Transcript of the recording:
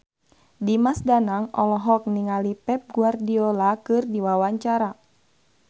Dimas Danang olohok ningali Pep Guardiola keur diwawancara